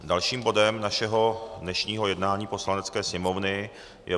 Dalším bodem našeho dnešního jednání Poslanecké sněmovny je